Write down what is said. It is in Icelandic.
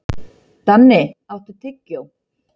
Danni, áttu tyggjó?